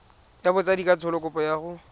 ya botsadikatsho kopo ya go